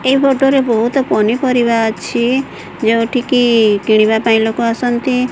ଏଇ ପଟରେ ବହୁତ ପନିପରିବା ଅଛି ଯେଉଁଠିକି କିଣିବାପାଇଁ ଲୋକ ଆସନ୍ତି।